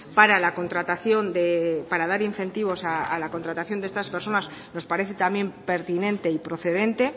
para la contratación para dar incentivos a la contratación de estas personas nos parece también pertinente y procedente